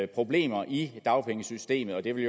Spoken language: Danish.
problemer i dagpengesystemet og de vil